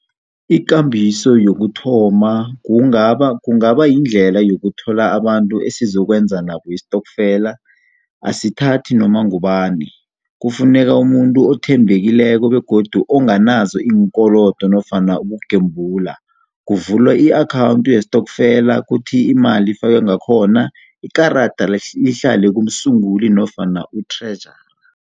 Ikambiso yokuthoma kungaba kungaba yindlela yokuthola abantu esizokwenza nabo istokfela. Asithathi noma ngubani, kufuneka umuntu othembekileko nofana onganazo iinkolodo nofana ukugembula. Kuvulwa i-akhawunti yestokfela kuthi imali ihlale ngakhona, ikarada lihlale kumsunguli nofana kuthrejara.